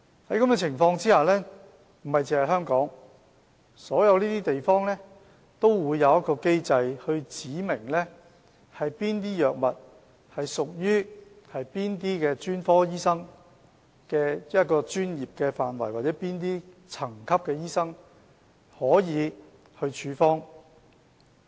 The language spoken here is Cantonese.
在這種情況下，不只香港，所有地方都會有機制訂明哪些藥物屬於哪些專科醫生的專業範圍，或有哪些層級的醫生才可以處方。